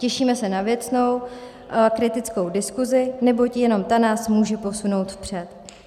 Těšíme se na věcnou, kritickou diskusi, neboť jenom ta nás může posunout vpřed.